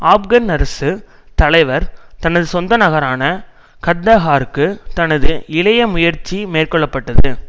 ஆப்கான் அரசு தலைவர் தனது சொந்த நகரான கந்தஹாருக்கு தனது இளைய முயற்சி மேற்கொள்ள பட்டது